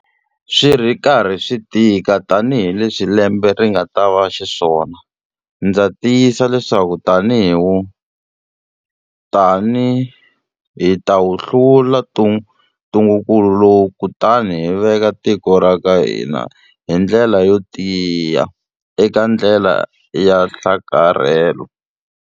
Swi ri karhi swi tika tanihileswi lembe ri nga ta va xiswona, ndza tiyisa leswaku hi ta wu hlula ntungukulu lowu kutani hi veka tiko ra ka hina hi ndlela yo tiya eka ndlela ya nhlakarhelo.